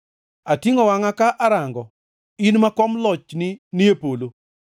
Atingʼo wangʼa ka arango, in ma kom lochni ni e polo.